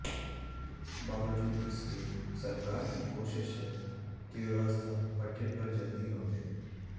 बावजूद इसके सरकार की कोशिश है कि व्यवस्था पटरी पर जल्दी लौटे